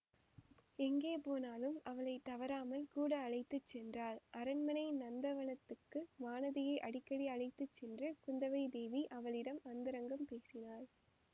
எங்கே போனாலும் அவளை தவறாமல் கூட அழைத்து சென்றாள் அரண்மனை நந்தவனத்துக்கு வானதியை அடிக்கடி அழைத்து சென்று குந்தவைதேவி அவளிடம் அந்தரங்கம் பேசினாள்